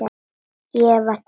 Ég var tekinn inn.